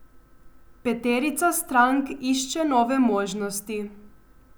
Peterica strank išče nove možnosti.